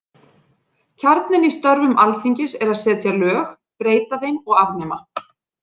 Kjarninn í störfum Alþingis er að setja lög, breyta þeim og afnema.